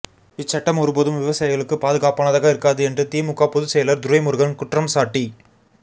இச்சட்டங்கள் ஒருபோதும் விவசாயிகளுக்கு பாதுகாப்பானதாக இருக்காது என்று திமுக பொதுச் செயலா் துரைமுருகன் குற்றம்சாட்டி